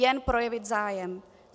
Jen projevit zájem.